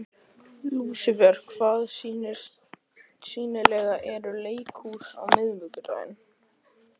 Lúsifer, hvaða sýningar eru í leikhúsinu á miðvikudaginn?